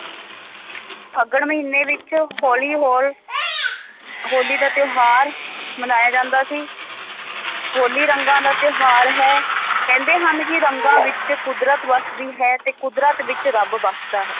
ਫੱਗਣ ਮਹੀਨੇ ਵਿੱਚ ਹੋਲੀ ਹੋ~ ਹੋਲੀ ਦਾ ਤਿਉਹਾਰ ਮਨਾਇਆ ਜਾਂਦਾ ਸੀ ਹੋਲੀ ਰੰਗਾਂ ਦਾ ਤਿਉਹਾਰ ਹੈ ਕਹਿੰਦੇ ਹਨ ਕਿ ਰੰਗਾਂ ਵਿੱਚ ਕੁਦਰਤ ਵਸਦੀ ਹੈ ਤੇ ਕੁਦਰਤ ਵਿੱਚ ਰੱਬ ਵੱਸਦਾ ਹੈ।